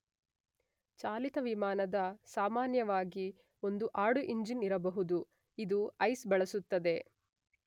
ಚಾಲಿತ ವಿಮಾನದ ಸಾಮಾನ್ಯವಾಗಿ ಒಂದು ಆಡು ಇಂಜಿನ್ ಇರಬಹುದು ಇದು ಐಸ್ ಬಳಸುತ್ತದೆ.